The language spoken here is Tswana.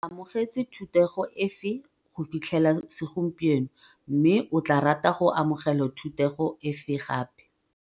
O amogetse thutego efe go fitlhela segompieno mme o tla rata go amogela thutego efe gape?